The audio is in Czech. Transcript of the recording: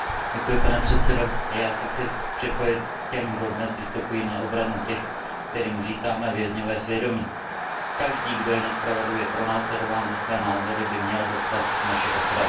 Pane předsedající, i já se chci připojit k těm, kdo dnes vystupují na obranu těch, kterým říkáme vězňové svědomí. Každý, kdo je nespravedlivě pronásledován za své názory, by měl dostat naši ochranu.